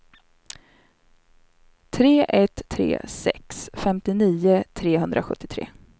tre ett tre sex femtionio trehundrasjuttiotre